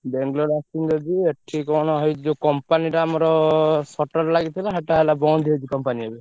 ବାଙ୍ଗଲୋର ଆସିଥିଲି ଯଦି ଏଠି କଣ ହେଇଚି ଯୋଉ company ଟା ଆମର ଲାଗିଥିଲା ସେଟା ହେଲା ବନ୍ଦ ହେଇଚି company ଏବେ।